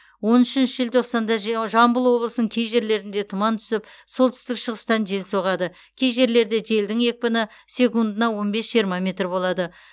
он үшінші желтоқсанда же жамбыл облысының кей жерлерінде тұман түсіп солтүстік шығыстан жел соғады кей жерлерде желдің екпіні секундына он бес жиырма метр болады